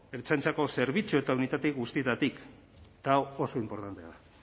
ertzaintzako zerbitzu eta unitate guztietatik eta hau oso inportantea da